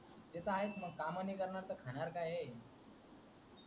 ते तर आहेच मंग काम नाही करणार त खाणार काय,